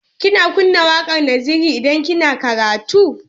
Kina kunna waƙar Naziru idan kina karatu?